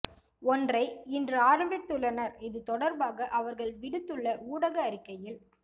ஒன்றை இன்று ஆரம்பித்துள்ளனர் இதுதொடர்பாக அவர்கள் விடுத்துள்ள ஊடக அறிக்கையில்